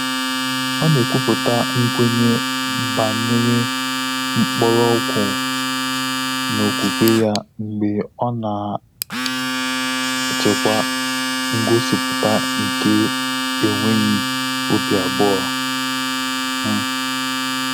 Ọ́ nà-ékwúpụ́tà nkwènye gbànyéré mkpọ́rọ́gwụ́ n’ókwúkwé yá mgbè ọ́ nà-àchị́kwá ngọ́sípụ́tà nké énwéghị́ óbí àbụ́ọ́. um